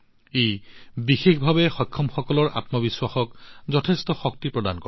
ই বিকলাংগসকলৰ আত্মবিশ্বাসক যথেষ্ট শক্তি প্ৰদান কৰে